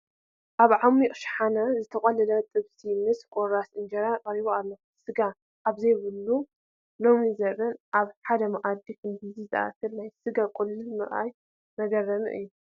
ኣብ ዓሚቕ ሸሓነ ዝተቖለለ ጥብሲ ምስ ቁራሳት እንጀራ ቀሪቡ ኣሎ፡፡ ስጋ ኣብዝኸበረሉ ሎሚ ዘመን ኣብ ሓደ መኣዲ ክንድዚ ዝኣክል ናይ ስጋ ቁልል ምርኣይ መገረሚ እዩ፡፡